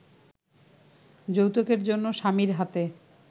যৌতুকের জন্য স্বামীর হাতে